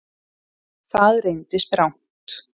Það reyndist rangt